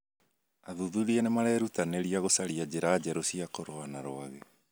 Athuthuria nĩ marerutanĩria gũcaria njĩra njerũ cia kũrũa na rwagĩ.